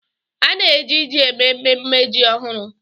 A na-eji ji eme mmemme ji ọhụrụ.